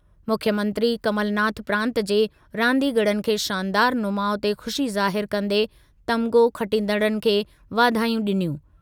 मुख्यमंत्री कमलनाथ प्रांत जे रांदीगरनि खे शानदारु नुमाउ ते ख़ुशी ज़ाहिर कंदे तमिग़ो खटींदड़नि खे वाधायूं ॾिनियूं।